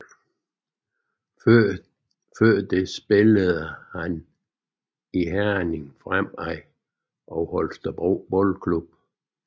Før det spillede han i Herning Fremad og Holstebro Boldklub